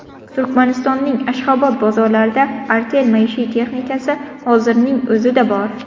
Turkmanistonning Ashxobod bozorlarida Artel maishiy texnikasi hozirning o‘zida bor.